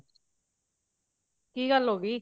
ਕੀ ਗੱਲ ਹੋਗੀ